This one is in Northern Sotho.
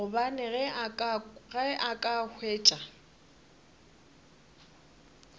gobane ge a ka hwetša